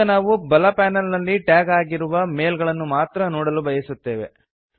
ಈಗ ನಾವು ಬಲ ಪ್ಯಾನಲ್ ನಲ್ಲಿ ಟ್ಯಾಗ್ ಆಗಿರುವ ಮೇಲ್ ಗಳನ್ನು ಮಾತ್ರ ನೋಡಲು ಬಯಸುತ್ತೇವೆ